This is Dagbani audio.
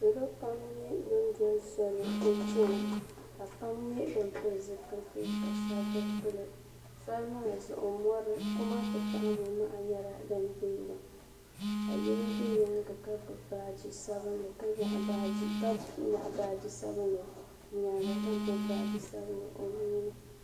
niriba pam nyɛ ban doli soli n-chana ka pam nyɛ ban pili zupiliti ka shɛba bi pili soli maa zuɣu mɔri kuma ti pahi mɔ' maha nyɛla din deegi ka yino be nyaaga ka gbubi o baaji sabinli ka nyaɣi baaji sabinli o nyaaga ka gbubi baaji sabinli o nuu ni.